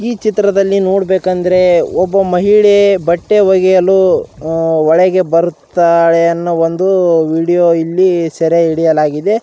ಈ ಚಿತ್ರದಲ್ಲಿ ನೋಡಬೇಕಂದ್ರೆ ಒಬ್ಬ ಮಹಿಳೆ ಬಟ್ಟೆ ಒಗೆಯಲು ಅಹ್ ಒಳಗೆ ಬರುತ್ತಾಳೆ ಎನ್ನೊ ಒಂದು ವಿಡಿಯೊ ಇಲ್ಲಿ ಸೆರೆ ಹಿಡಿಯಲಾಗಿದೆ .